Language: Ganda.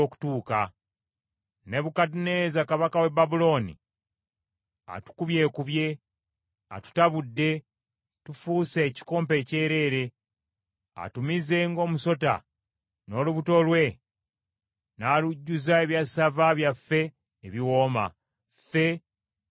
“Nebukadduneeza kabaka w’e Babulooni atukubyekubye, atutabudde, tufuuse ekikompe ekyereere. Atumize ng’omusota n’olubuto lwe n’alujjuza ebyassava byaffe ebiwooma, ffe n’atusesema.